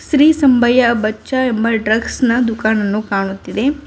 ಶ್ರೀ ಸಂಬಯ್ಯ ಬಚ್ಚ ಎಂಬ ಡ್ರಗ್ಸ್ ನ ದುಕನನ್ನು ಕಾಣುತ್ತಿದೆ.